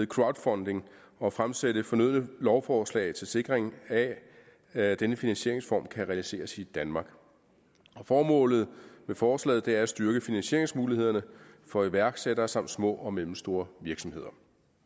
crowdfunding og fremsætte fornødne lovforslag til sikring af at denne finansieringsform kan realiseres i danmark formålet med forslaget er at styrke finansieringsmulighederne for iværksættere samt små og mellemstore virksomheder